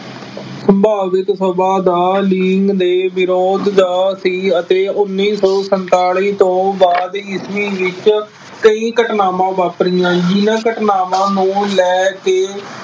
ਸੰਭਾਵਿਕ ਸਭਾ ਦਾ ਲੀਨ ਦੇ ਵਿਰੋਧ ਦਾ ਸੀ ਅਤੇ ਉੱਨੀ ਸੌ ਸੰਤਾਲੀ ਤੋਂ ਬਾਅਦ ਈਸਵੀ ਵਿੱਚ ਕਈ ਘਟਨਾਵਾਂ ਵਾਪਰੀਆਂ। ਜਿੰਨ੍ਹਾ ਘਟਨਾਵਾਂ ਨੂੰ ਲੈ ਕੇ